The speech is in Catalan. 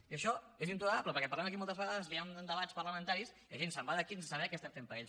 i això és intolerable perquè en parlem aquí moltes vegades que hi han debats parlamentaris i la gent se’n va d’aquí sense saber què estem fent per ells